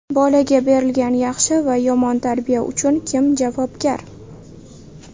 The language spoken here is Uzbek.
Bolaga berilgan yaxshi va yomon tarbiya uchun kim javobgar?